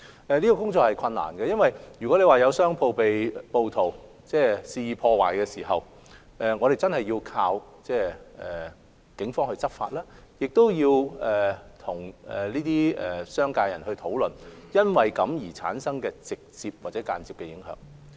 這項工作是困難的，因為如有商鋪被暴徒肆意破壞，我們真的有賴警方執法，亦要與商界人士討論因此而產生的直接或間接影響。